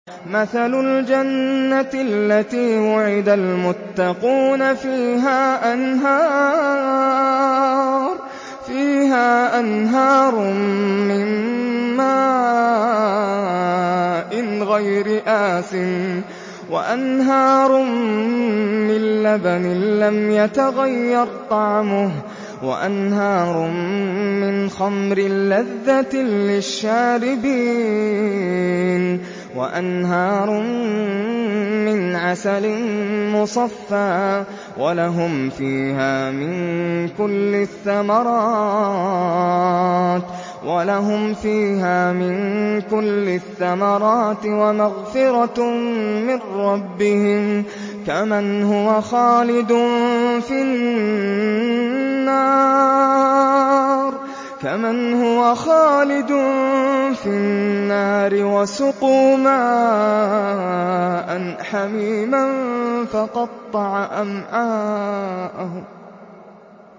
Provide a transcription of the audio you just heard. مَّثَلُ الْجَنَّةِ الَّتِي وُعِدَ الْمُتَّقُونَ ۖ فِيهَا أَنْهَارٌ مِّن مَّاءٍ غَيْرِ آسِنٍ وَأَنْهَارٌ مِّن لَّبَنٍ لَّمْ يَتَغَيَّرْ طَعْمُهُ وَأَنْهَارٌ مِّنْ خَمْرٍ لَّذَّةٍ لِّلشَّارِبِينَ وَأَنْهَارٌ مِّنْ عَسَلٍ مُّصَفًّى ۖ وَلَهُمْ فِيهَا مِن كُلِّ الثَّمَرَاتِ وَمَغْفِرَةٌ مِّن رَّبِّهِمْ ۖ كَمَنْ هُوَ خَالِدٌ فِي النَّارِ وَسُقُوا مَاءً حَمِيمًا فَقَطَّعَ أَمْعَاءَهُمْ